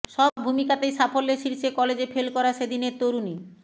সব ভূমিকাতেই সাফল্যের শীর্ষে কলেজে ফেল করা সেদিনের তরুণী